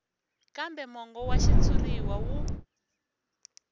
kambe mongo wa xitshuriwa wu